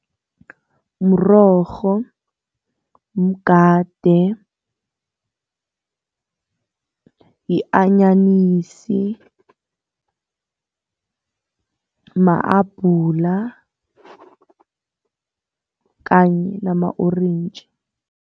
Mrorho, mgade, yi-anyanisi, mahabhula kanye nama-orentji.